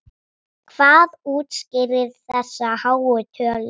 Hvað útskýrir þessa háu tölu?